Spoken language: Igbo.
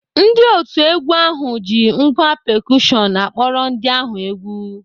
Ndị otu egwu ahụ ji ngwá pekushọn akpọrọ ndị ahụ egwu.